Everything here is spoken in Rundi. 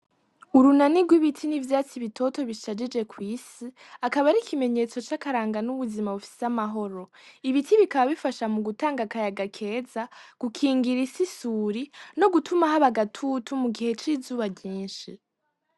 Urunani rw’ibiti n’ivyatsi bitoto bishajije ku isi, akaba ari ikimenyetso c’akaranga n’ubuzima bufise amahoro. Ibiti bikaba bifasha mu gutanga akayaga keza, gukingira isi isuri, no gutuma haba agatutu mu gihe c’izuba ryinshi.